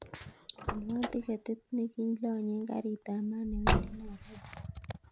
Alwon tiketit nekilonyen gari ab maat newendi nairobi